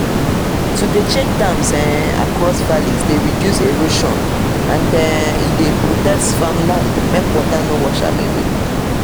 to dey check dams um across valleys dey reduce erosion and e dey protect farmland make water no wash am away